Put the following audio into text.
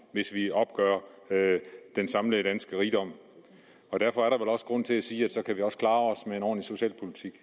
hvis vi opgør den samlede danske rigdom derfor er der vel også grund til at sige at så kan vi også klare os med en ordentlig socialpolitik